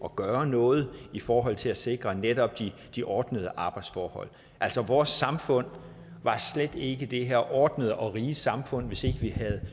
gøre noget i forhold til at sikre netop de ordnede arbejdsforhold altså vores samfund var slet ikke det her ordnede og rige samfund hvis ikke vi havde